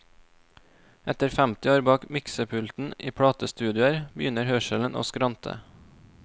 Etter femti år bak miksepulten i platestudioer begynner hørselen å skrante.